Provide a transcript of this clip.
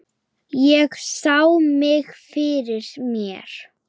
Ég sá mig fyrir mér.